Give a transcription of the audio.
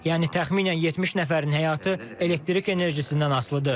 Yəni təxminən 70 nəfərin həyatı elektrik enerjisindən asılıdır.